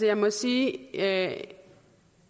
jeg må sige at